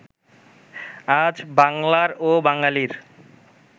আজ বাঙলার ও বাঙালীর